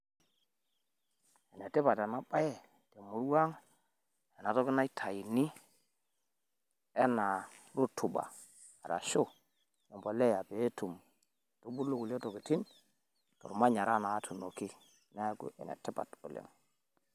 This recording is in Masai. Enetipat ena bae te murua ang, enatoki naitayuni enaa rotuba arashu embolea pee etum aitubulu nkulie tokitin tolmanyara natuunoki. Niaku Ene tipat oleng.